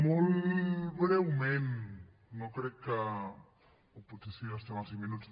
molt breument no crec que o potser sí gastem els cinc minuts